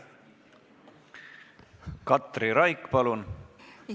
Katri Raik, palun!